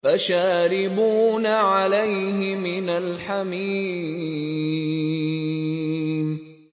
فَشَارِبُونَ عَلَيْهِ مِنَ الْحَمِيمِ